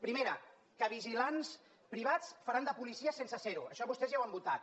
primera que vigilants privats faran de policies sense ser ho això vostès ja ho han votat